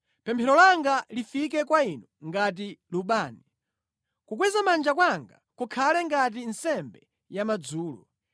Pemphero langa lifike kwa Inu ngati lubani; kukweza manja kwanga kukhale ngati nsembe yamadzulo.